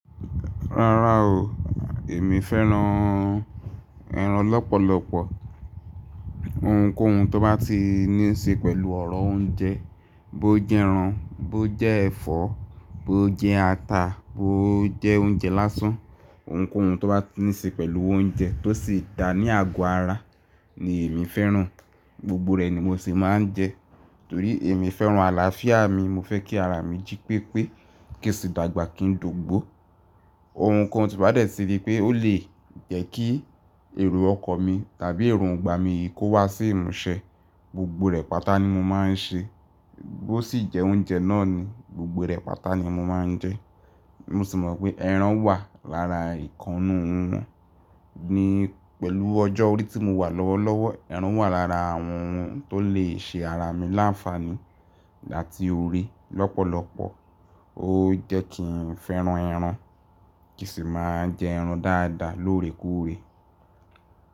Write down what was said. Rárá o, èmi fẹ́ran ẹran lọ́pọ̀lọpọ̀. Ohunkóhun tó bá ti ní ṣe pẹ̀lú ọ̀rọ̀ oúnjẹ, bó jẹ́ ẹran, bó jẹ́ ẹ̀fọ́, bó jẹ́ ata, bó jẹ́ oúnjẹ lásán, ohunkóhun tó bá ní ṣe pẹ̀lú oúnjẹ tó sì dá ní àgọ́ ara ni èmi fẹ́ran, gbogbo rẹ̀ ni mo sì máa ń jẹ. Torí èmi fẹ́ran àlàáfíà mi, mo fẹ́ kí ara mi jí pépé, kí sì dàgbà kí n dògbó. Ohunkóhun tí bá dẹ̀ ti rí pé ó lè jẹ́ kí èrò ọkan mi tàbí èròngbà mi yi kó wá sí ìmúṣẹ, gbogbo rẹ̀ pátá ni mo máa ń ṣe. Bó sì jẹ́ oúnjẹ náà ni gbogbo rẹ̀ pátá ni mo máa ń jẹ. Mo sì mọ̀ pé ẹran wà lára ìkan n nu won. Ni pẹ̀lú ọjọ́ orí tí mo wà lọ́wọ́lọ́wọ́, ẹran wà lára àwọn ohun tó lè ṣe ara mi láǹfààní láti orí lọ́pọ̀lọpọ̀. Ó jẹ́ kí n fẹ́ran ẹran, kí sì máa jẹ ẹran dáadáa lóòrèkúrè.